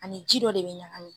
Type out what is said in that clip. A ni ji dɔ de be ɲagami.